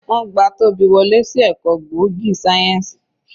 Wọ́n gba Tobi wọlé sí ẹ̀kọ́ gbòógì sáyẹ́ǹsì.